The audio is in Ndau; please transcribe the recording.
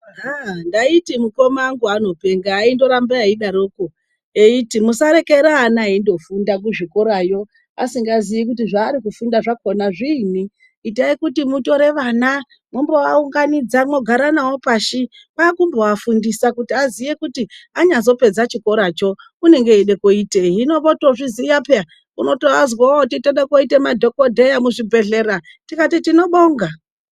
Ndaiti mukoma angu anopenga aingoti aifamba edaroko eiti musarekera vana veingofunda kuzvikorayo asingaziyi zvaari kufunda zvakona zviinyi itai kuti mutore vana mumbovaunganidza mogara navo pasi kwakuvafundisa vaziye kuti anyazopedza chikoracho unenge eida koitei hino votozviziya peya unotovazwa veiti toda koita madhokodheya muzvibhehleya tikati tinobonga.